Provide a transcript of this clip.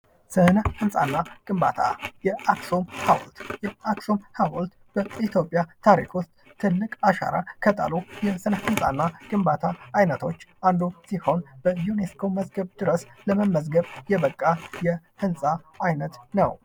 ህንፃና ግንባታ ፡-የአክሱም ሀውልት በኢትዮጵያ ታሪክ ውስጥ ትልቅ አሻራ ከጣሉ የስነ ህንፃና ግንባታ አይነቶች አንዱ ሲሆን በዩኔስኮ መዝገብ ድረስ መዝገብ የበቃ የህንፃ አይነት ነው ።